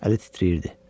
Əli titrəyirdi.